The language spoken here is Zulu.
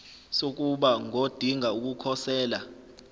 sokuba ngodinga ukukhosela